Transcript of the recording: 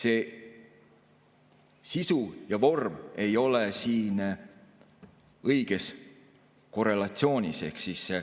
Ehk sisu ja vorm ei ole siin õiges korrelatsioonis.